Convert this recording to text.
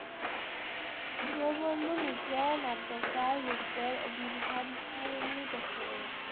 দীনবন্ধু মিত্রের নাট্যকার রূপের আবির্ভাবগুলি ব্যাখ্যা করো।